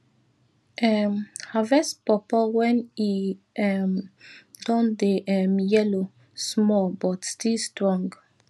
um harvest pawpaw when e um don dey um yellow small but still strong